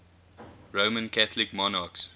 roman catholic monarchs